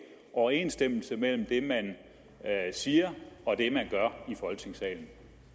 overensstemmelse mellem det man siger og det man gør i folketingssalen